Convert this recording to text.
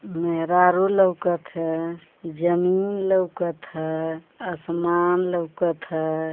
मेहरारू लउकत ह जमीन लउकत ह असमान लउकत ह |